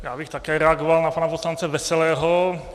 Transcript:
Já bych také reagoval na pana poslance Veselého.